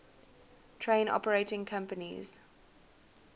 train operating companies